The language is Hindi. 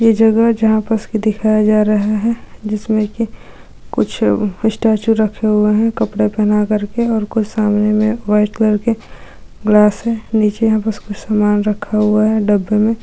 ये जगह जहाँ पस दिखाया जा रहे है जिसमे की कुछ स्टैचू रखे हुए है कपड़े पहनाकर के और कोई सामने मे व्हाइट कलर के ग्लास है नीचे यहाँ पास कुछ सामान रखा हुआ है डब्बे में --